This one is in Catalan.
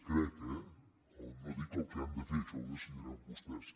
crec eh no dic el que han de fer això ho decidiran vostès